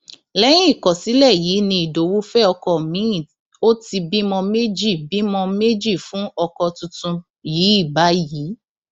lẹyìn ìkọsílẹ yìí ni ìdowu fẹ ọkọ miin ó ti bímọ méjì bímọ méjì fún ọkọ tuntun yìí báyìí